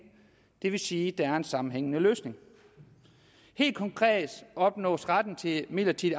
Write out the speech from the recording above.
det vil sige at der er en sammenhængende løsning helt konkret opnås retten til midlertidig